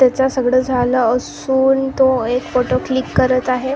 त्याचं सगळं झालं असून तो एक फोटो क्लिक करत आहे.